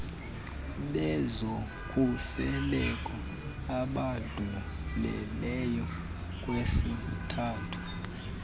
bezokhuseleko abadlulileyo kwisithathu